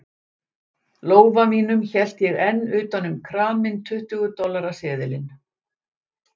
lófa mínum hélt ég enn utan um kraminn tuttugu dollara seðilinn.